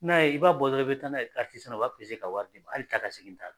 N'a ye i b'a bɔ dɔrɔn i bɛ taa n'a ye Platisana u b'a pese k'a wari d'i ma hali taa ka segin t'a la.